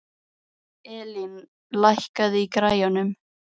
Elín, lækkaðu í græjunum.